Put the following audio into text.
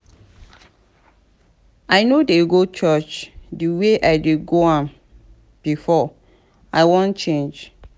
i no dey go church the way i dey go am before. i wan change.